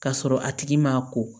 Ka sɔrɔ a tigi ma ko